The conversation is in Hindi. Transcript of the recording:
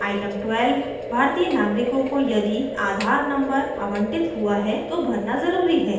item 12भारतीय नागरिकों को यदि aadhaar number आवंटित हुआ है तो भरना ज़रूरी है